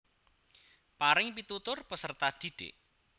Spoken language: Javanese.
Paring pitutur peserta didik